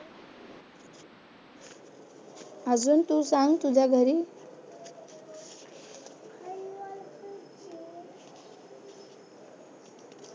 अजून तू सांग तुझ्या घरी